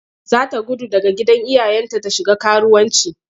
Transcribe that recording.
Za ta gudu daga gidan iyayenta ta shiga karuwanci.